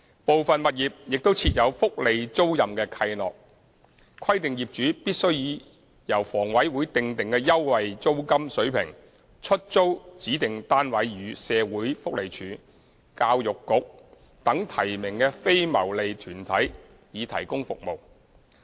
部分物業亦設有福利租賃契諾，規定業主必須以由房委會訂定的優惠的租金水平出租指定單位予社會福利署，教育局等提名的非牟利團體以提供服務。